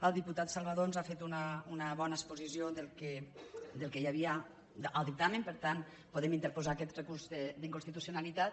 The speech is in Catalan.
el diputat salvadó ens ha fet una bona exposició del que hi havia en el dictamen per tant podem interposar aquest recurs d’inconstitucionalitat